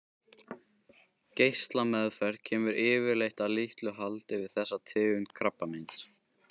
Geislameðferð kemur yfirleitt að litlu haldi við þessa tegund krabbameins.